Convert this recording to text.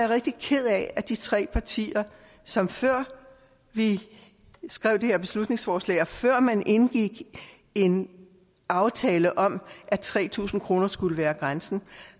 rigtig ked af at de tre partier som før vi skrev det her beslutningsforslag og før man indgik en aftale om at tre tusind kroner skulle være grænsen